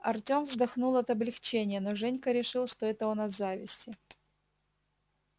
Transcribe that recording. артём вздохнул от облегчения но женька решил что это он от зависти